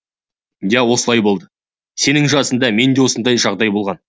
иә осылай болды сенің жасында менде де осындай жағдай болған